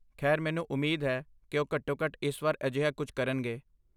ਖੈਰ, ਮੈਨੂੰ ਉਮੀਦ ਹੈ ਕੀ ਉਹ ਘੱਟੋ ਘੱਟ ਇਸ ਵਾਰ ਅਜਿਹਾ ਕੁੱਝ ਕਰਨਗੇ